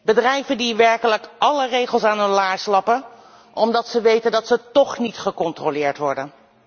Bedrijven die werkelijk alle regels aan hun laars lappen, omdat ze weten dat ze toch niet gecontroleerd worden.